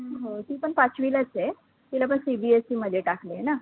हो ती पण पाचवीलाचं आहे, तीला पण CBSE मध्ये टाकलंय ना